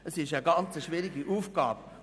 Das ist eine sehr schwierige Aufgabe.